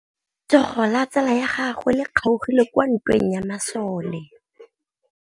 Letsôgô la tsala ya gagwe le kgaogile kwa ntweng ya masole.